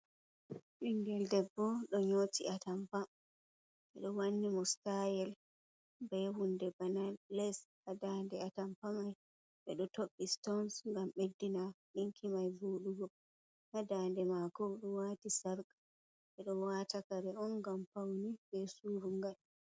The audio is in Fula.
Ɓingel debbo ɗo nyoti atampa, ɓeɗo wanni mo sitaayel be hunɗe bana les ha daande atampa mai, ɓe ɗo toɓɓei sitons ngam ɓeddina ɗinki mai vooɗugo, haa daande maako, o ɗo waati sarƙa, ɓe ɗo waata kare on ngam paune, be surungal.